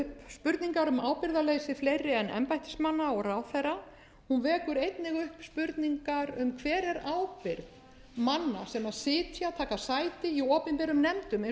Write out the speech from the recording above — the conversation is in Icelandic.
spurningar um ábyrgðarleysi fleiri en embættismanna og ráðherra hún vekur einnig upp spurningar um hver er ábyrgð manna sem taka sæti í opinberum nefndum eins og einkavæðingarnefnd hún vekur